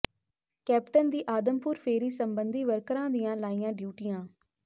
captain ਦੀ ਆਦਮਪੁਰ ਫੇਰੀ ਸਬੰਧੀ ਵਰਕਰਾਂ ਦੀਆਂ ਲਾਈਆਂ ਡਿਊਟੀਆਂ